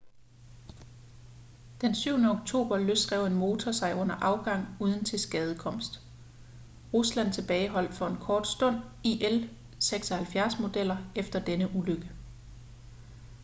den 7. oktober løsrev en motor sig under afgang uden tilskadekomst. rusland tilbageholdt for en kort stund il-76-modeller efter denne ulykke